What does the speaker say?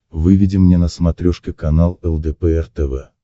выведи мне на смотрешке канал лдпр тв